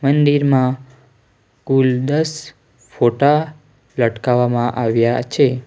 મંદિરમાં કુલ દસ ફોટા લટકાવવામાં આવ્યા છે.